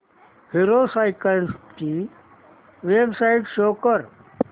hero cycles ची website show कर